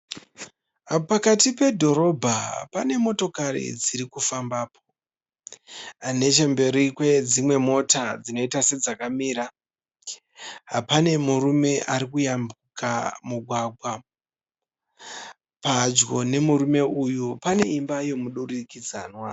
Pakati pedhorobha pane motokari dziri kufambapo. Nechemberi kwedzimwe mota dzinoita sedzakamira pane murume ari kuyambuka mugwagwa. Padyo nemurume uyu pane imba yomudurikidzanwa.